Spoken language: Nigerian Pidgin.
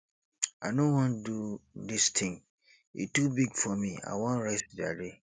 i no wan do dis thing e too big for me i wan rest jare